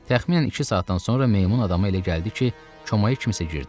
Təxminən iki saatdan sonra meymun adama elə gəldi ki, çomaya kimsə girdi.